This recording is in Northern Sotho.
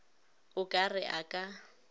o ka re a ka